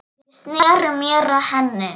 Ég sneri mér að henni.